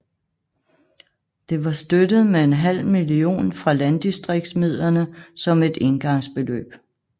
Det var støttet med en halv million fra landdistriksmidlerne som et engangsbeløb